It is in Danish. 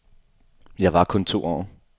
Jeg var kun to år.